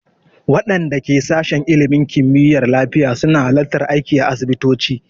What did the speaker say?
Waɗanda ke sashin ilimin kimiyyar lafiya su na halartar aiki a asibitoci